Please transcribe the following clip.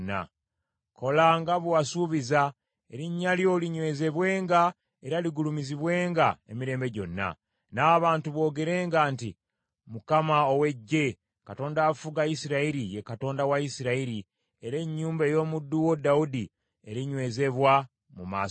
Kola nga bwe wasuubiza, erinnya lyo ligulumizibwenga emirembe gyonna, n’abantu boogerenga nti, Mukama ow’Eggye, Katonda afuga Isirayiri, ye Katonda wa Isirayiri! Era ennyumba ey’omuddu wo Dawudi erinywezebwa mu maaso go.